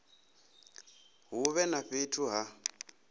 hu vhe na fhethu ha